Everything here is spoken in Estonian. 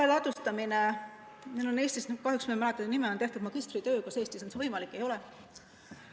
Eestis on tehtud magistritöö – kahjuks ma ei mäleta autori nime – selle kohta, kas Eestis on see võimalik või ei ole.